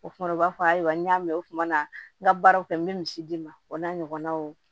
O kuma u b'a fɔ ayiwa n y'a mɛn u tumana n ka baaraw kɛ n bɛ misi d'i ma o n'a ɲɔgɔnnaw